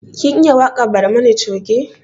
Kin iya waƙar barmani coge?